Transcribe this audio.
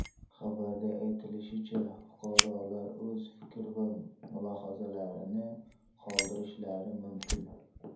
Xabarda aytilishicha, fuqarolar o‘z fikr va mulohazalarini qoldirishlari mumkin.